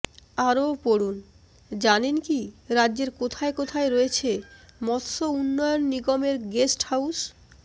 আরও পড়ুন জানেন কি রাজ্যের কোথায় কোথায় রয়েছে মৎস্য উন্নয়ন নিগমের গেস্ট হাউস